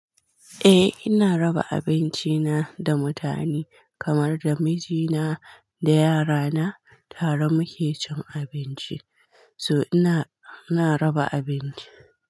Eh ina raba abinci na da mutane kamar da mijina da yara na tare muke cin abinci, so ina, ina raba abinci.